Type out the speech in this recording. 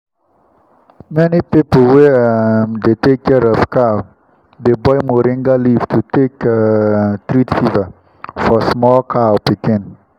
many people wey um dey take care of cow dey boil moringa leaf to take um treat fever for small cow pikin.